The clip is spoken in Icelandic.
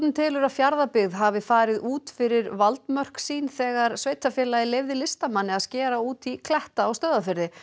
telur að Fjarðabyggð hafi farið út fyrir valdmörk sín þegar sveitarfélagið leyfði listamanni að skera út í kletta á Stöðvarfirði